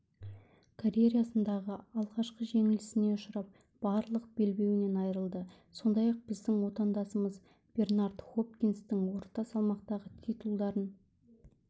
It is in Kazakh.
карьерасындағы алғашқы жеңілісіне ұшырап барлық белбеуінен айырылды сондай-ақ біздің отандасымыз бернард хопкинстің орта салмақтағы титулдарын